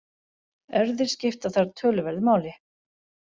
Erfðir skipta þar töluverðu máli.